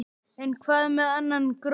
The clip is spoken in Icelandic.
En hvað með annan gróður?